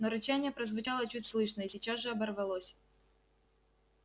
но рычание прозвучало чуть слышно и сейчас же оборвалось